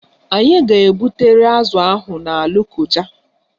Anyị ga-ebutere azụ ahụ na Lokoja